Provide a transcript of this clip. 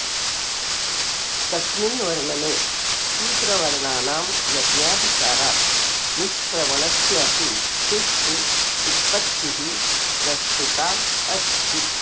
तस्मिन् वर्णने शूद्रवर्णानां यज्ञाधिकारात् निष्क्रमणस्य अपि सुष्ठु उत्पत्तिः प्रस्तुताऽस्ति